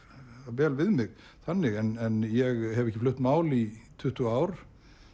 vel við mig þannig en ég hef ekki flutt mál í tuttugu ár